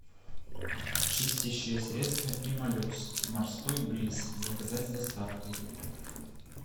чистящее средство пемолюкс морской бриз заказать с доставкой